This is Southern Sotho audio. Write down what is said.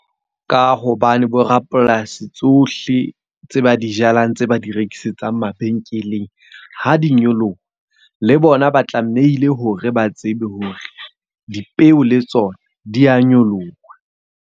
Ka hobane bo rapolasi tsohle tse ba di jalang tsee ba di rekisetsang mabenkeleng. Ha di nyoloha, le bona ba tlamehile hore ba tsebe hore dipeo le tsona di a nyoloha.